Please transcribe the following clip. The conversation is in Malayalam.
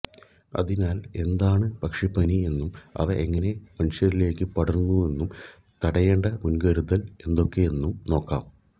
അതിനാല് എന്താണ് പക്ഷിപ്പനി എന്നും അവ എങ്ങനെ മനുഷ്യരിലേക്ക് പടരുന്നുവെന്നും തടയേണ്ട മുന്കരുതല് എന്തൊക്കെയെന്നും നോക്കാം